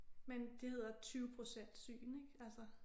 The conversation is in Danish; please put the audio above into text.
Men det hedder 20 procent syn ik altså